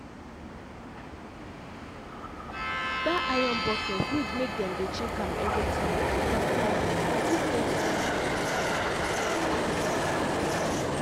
that iron bucket need make them dey check am every time because time because e dey quick get hole for the buttom